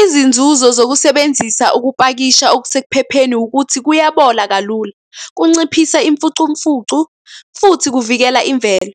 Izinzuzo zokusebenzisa ukupakisha okusekuphepheni ukuthi kuyabola kalula, kunciphisa imfucumfucu, futhi kuvikela imvelo.